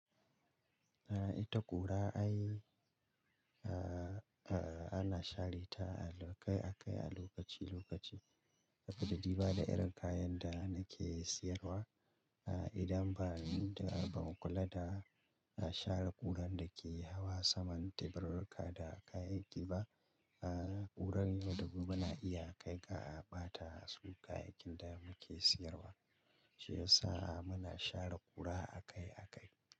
Ita ƙura ai a ana share ta a kai a kai a lokaci lokaci saboda diba da irin kayan da na ke siyarwa aa. Idan ba mu kula da share ƙurar da ke hawa saman teburarka da kayayyaki ba, ƙurar yau da gobe na iya kai ka a ɓata su kayayyakin da muke siyarwa. Shi yasa muna share ƙura a kai a kai.